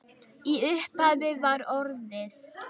Í upphafi var orðið.